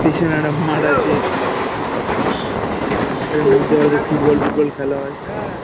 পিছনে একটা মাঠ আছে মাঠের মধ্যে হয়ত ফুট বল টুট বল খেলা হয়